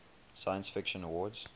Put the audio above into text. science fiction awards